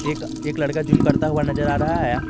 एक एक लड़का जिम करता हुआ नजर आ रहा है।